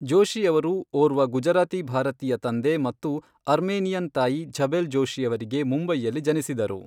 ಜೋಶಿಯವರು ಓರ್ವ ಗುಜರಾತಿ ಭಾರತೀಯ ತಂದೆ ಮತ್ತು ಅರ್ಮೇನಿಯನ್ ತಾಯಿ ಝಬೆಲ್ ಜೋಶಿಯವರಿಗೆ ಮುಂಬೈಯಲ್ಲಿ ಜನಿಸಿದರು.